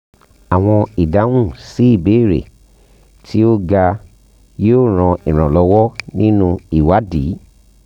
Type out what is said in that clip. awọn idahun si ibeere ti o ga yoo ran iranlọwọ ninu iwadi